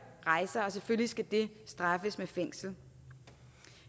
rejser og selvfølgelig skal det straffes med fængsel